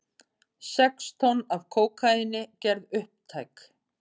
Sex tonn af kókaíni gerð upptæk